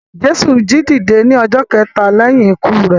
Jésù jíǹde ní ọjọ́ kẹta lẹ́yìn ikú rẹ.